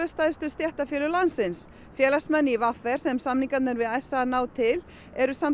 stærstu stéttarfélög landsins félagsmenn í v r sem samningarnir við s a ná til eru